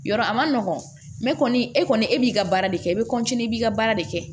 Yɔrɔ a man nɔgɔn kɔni e kɔni e b'i ka baara de kɛ i bɛ i b'i ka baara de kɛ